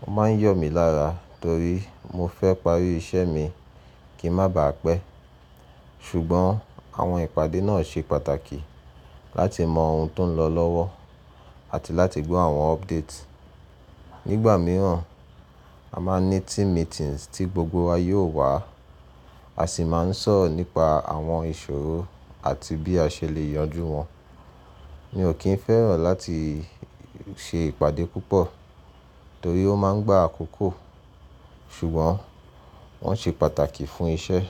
Mo má ń yọ̀ mí lára torí mo fẹ́ parí iṣẹ́ mi kí ń má baà pẹ́. Ṣùgbọ́n àwọn ìpàdé náà ṣe pàtàkì láti mọ oun tó ń lọ lọ́wọ́ àti láti gbọ́ àwọn update. Nígbà mìíràn, a máa ń ní team meetings tí gbogbo wa yóò wá, a sì máa ń sọ̀rọ̀ nípa àwọn ìṣòro àti bí a ṣe lè yanjú wọn. Mi ò kín fẹ́ràn láti ṣe ìpàdé púpọ̀ torí ó máa ń gbá àkókò, ṣùgbọ́n wọ́n ṣe pàtàkì fún iṣẹ́.